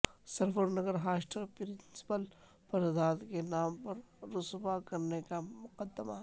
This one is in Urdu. سرور نگر ہاسٹل پرنسپل پر ذات کے نام پر رسوا کرنے کا مقدمہ